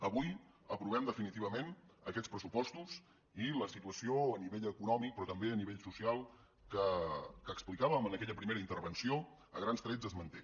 avui aprovem definitivament aquests pressupostos i la situació a nivell econòmic però també a nivell social que ho explicàvem en aquella primera intervenció a grans trets es manté